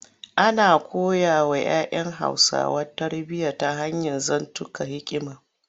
Ana koyawa ‘ya ‘yan Hausawa tarbiyya ta hanyar zantukan hikima.